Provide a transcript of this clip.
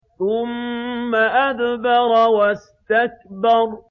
ثُمَّ أَدْبَرَ وَاسْتَكْبَرَ